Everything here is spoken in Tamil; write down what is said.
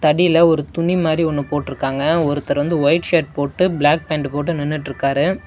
தடில ஒரு துணி மாரி ஒன்னு போட்ருக்காங்க ஒருத்தர் வந்து ஒயிட் ஷர்ட் போட்டு ப்ளாக் பேண்ட் போட்டு நின்னுட்ருக்காரு.